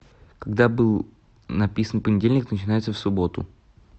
когда был написан понедельник начинается в субботу